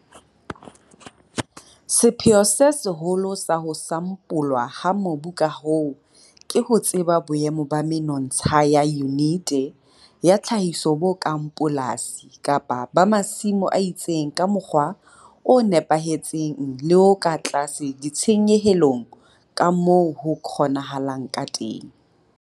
Sepheo se seholo sa ho sampolwa ha mobu ka hoo ke ho tseba boemo ba menontsha ya yunite ya tlhahiso bo kang polasi kapa ba masimo a itseng ka mokgwa o nepahetseng le o tlase ditshenyehelong ka moo ho kgonahalang ka teng.